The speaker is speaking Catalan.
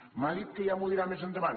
m’ha dit que ja m’ho dirà més endavant